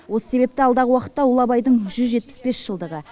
осы себепті алдағы уақытта ұлы абайдың жүз жетпіс бес жылдығы